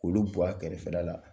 Olu bɔ a kɛrɛfɛla la